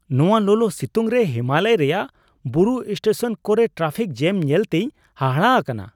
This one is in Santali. ᱱᱚᱶᱟ ᱞᱚᱞᱚᱼᱥᱤᱛᱩᱝ ᱨᱮ ᱦᱤᱢᱟᱞᱚᱭ ᱨᱮᱭᱟᱜ ᱵᱩᱨᱩ ᱥᱴᱮᱥᱚᱱ ᱠᱚᱨᱮ ᱴᱨᱟᱯᱷᱤᱠ ᱡᱮᱹᱢ ᱧᱮᱞᱛᱮᱧ ᱦᱟᱦᱟᱲᱟᱜ ᱟᱠᱟᱱᱟ !